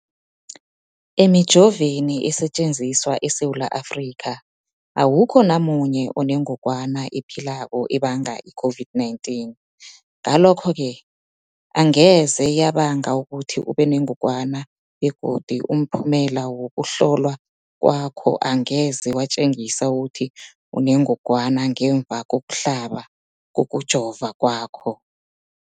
Emijoveni esetjenziswa eSewula Afrika, awukho namunye onengog wana ephilako ebanga i-COVID-19. Ngalokho-ke angeze yabanga ukuthi ubenengogwana begodu umphumela wokuhlolwan kwakho angeze watjengisa ukuthi unengogwana ngemva kokuhlaba, kokujova kwakho.